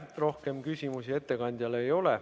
Rohkem küsimusi ettekandjale ei ole.